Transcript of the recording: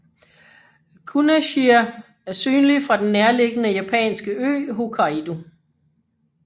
Kunasjir er synlig fra den nærliggende japanske ø Hokkaido